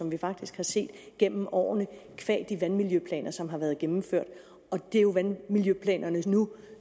vi faktisk set gennem årene qua de vandmiljøplaner som har været gennemført og det er jo vandmiljøplanerne som nu